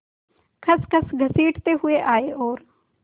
खसखस घसीटते हुए आए और